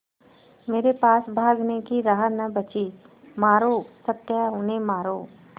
मेरे पास भागने की राह न बची मारो सत्या उन्हें मारो